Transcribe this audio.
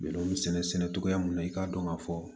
Bɛn bɛ sɛnɛ togoya min na i k'a dɔn ka fɔ